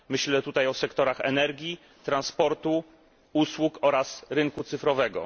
Myślę tutaj o sektorach energii, transportu, usług oraz rynku cyfrowego.